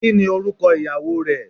Kini oruko iyawo re